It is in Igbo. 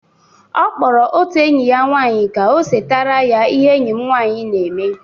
Ọ kpọrọ otu enyi ya nwanyị ka o setara ya ihe enyi m nwanyi na-eme.